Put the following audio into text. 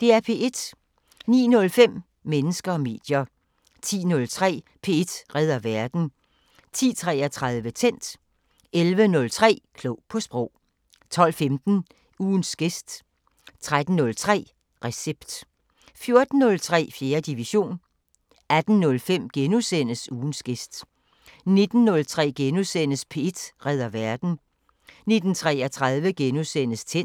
09:05: Mennesker og medier 10:03: P1 redder verden 10:33: Tændt 11:03: Klog på Sprog 12:15: Ugens gæst 13:03: Recept 14:03: 4. division 18:05: Ugens gæst * 19:03: P1 redder verden * 19:33: Tændt *